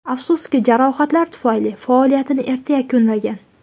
Afsuski, jarohatlar tufayli faoliyatini erta yakunlagan.